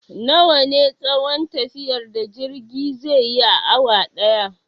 Nawa ne tsayon tafiyar da jirge zai yi a awa ɗaya?